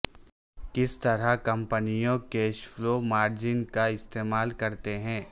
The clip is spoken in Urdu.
کس طرح کمپنیوں کیش فلو مارجن کا استعمال کرتے ہیں